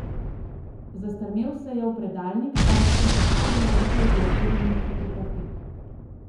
Zastrmel se je v predalnik, kamor sem postavila nekaj uokvirjenih fotografij.